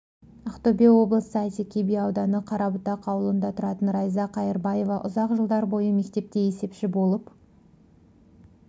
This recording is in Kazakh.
ақтөбе облысы әйтеке би ауданы қарабұтақ ауылында тұратын райза қайырбаева ұзақ жылдар бойы мектепте есепші болып